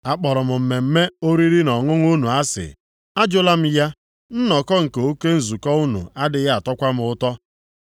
“Akpọrọ m mmemme oriri na ọṅụṅụ unu asị, ajụla m ya. Nnọkọ nke oke nzukọ unu adịghị atọkwa m ụtọ.